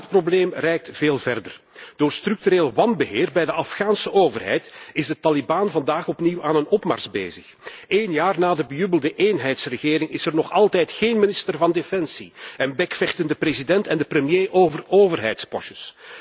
Maar het probleem reikt veel verder. Door structureel wanbeheer bij de Afghaanse overheid zijn de taliban vandaag opnieuw aan een opmars bezig. Een jaar na de bejubelde eenheidsregering is er nog altijd geen minister van Defensie en bekvechten de president en de premier over overheidspostjes.